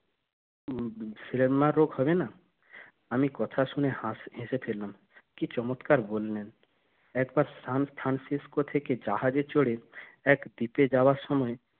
সিলাম্মা রোগ হবে না আমি কথা শুনে হেসে ফেললাম কি চমৎকার বললেন একবার সানফ্রানসিসকো থেকে জাহাজে চড়ে এক দ্বীপে যাওয়ার সময়